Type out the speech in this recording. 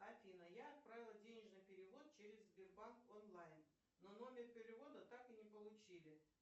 афина я отправила денежный перевод через сбербанк онлайн но номер перевода так и не получили